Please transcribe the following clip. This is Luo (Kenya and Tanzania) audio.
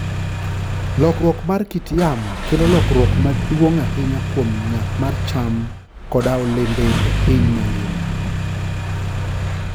Lokruok mar kit yamo, kelo lokruok maduong' ahinya kuom nyak mar cham koda olembe e piny mangima.